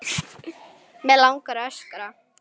Mig langar að öskra.